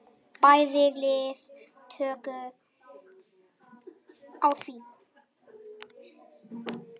Bæði lið tóku á því.